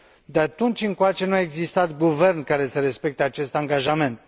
De atunci încoace nu a existat guvern care să respecte acest angajament.